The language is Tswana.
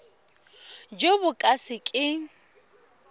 jo bo ka se keng